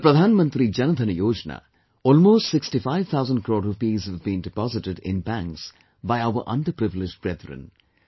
In the Pradhan Mantri Jan Dhan Yojna, almost 65 thousand crore rupees have deposited in banks by our underprivileged brethren